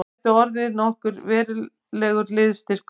Hann gæti orðið okkur verulegur liðsstyrkur